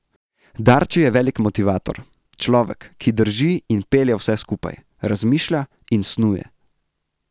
Darči je velik motivator, človek, ki drži in pelje vse skupaj, razmišlja in snuje.